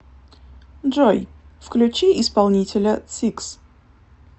джой включи исполнителя сикс